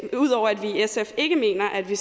ikke mener at vi